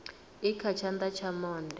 i kha tshana tsha monde